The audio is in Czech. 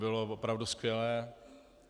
Bylo opravdu skvělé.